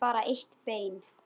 En bara eitt bein.